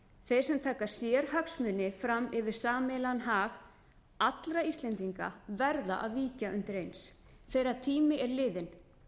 þeir sem taka sérhagsmuni fram yfir sameiginlegan hag allra íslendinga verða að víkja undir eins þeirra tími er liðinn